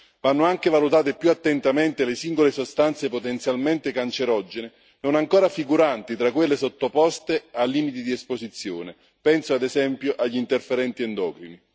Vanno anche valutate più attentamente le singole sostanze potenzialmente cancerogene non ancora figuranti tra quelle sottoposte ai limiti di esposizione penso, ad esempio, agli interferenti endocrini.